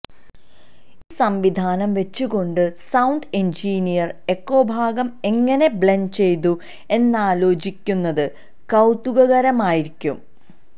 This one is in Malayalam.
ഈ സംവിധാനം വച്ചുകൊണ്ട് സൌണ്ട് എന്ജിനീയര് എക്കൊഭാഗം എങ്ങനെ ബ്ലെന്ഡ് ചെയ്തു എന്നാലോചിക്കുന്നത് കൌതുകകരമായിരിക്കും